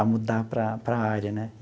a mudar para para a área né.